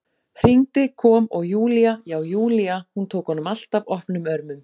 Hringdi, kom, og Júlía- já, Júlía, hún tók honum alltaf opnum örmum.